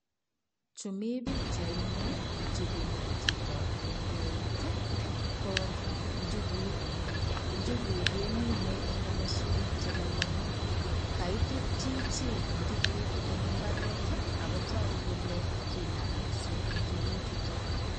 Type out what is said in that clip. Chumi pikchaini chu kinam chito eng eutii, ko njuguk. Njuguk kemine eng komoswek che lolong. Kaitut chichi tuguk eng imbaret ago tagu kole kinam mising injuguchuto.